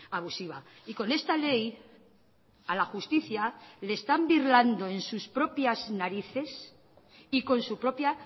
abusiva y con esta ley a la justicia le están birlando en sus propias narices y con su propia